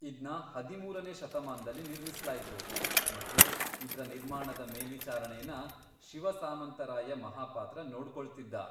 ಇದ್ನ ಹದಿಮೂರನೇ ಶತಮಾನ್ದಲ್ಲಿ ನಿರ್ಮಿಸ್ಲಾಯ್ತು ಮತ್ತೆ ಇದ್ರ ನಿರ್ಮಾಣದ ಮೇಲ್ವಿಚಾರಣೆನ ಶಿವ ಸಾಮಂತರಾಯ ಮಹಾಪಾತ್ರ ನೋಡ್ಕೊಳ್ತಿದ್ದ.